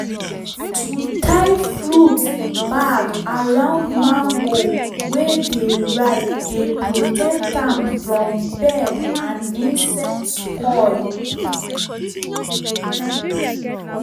to tie fruit bag around mango wey dey ripe dey protect am from bird and insect spoil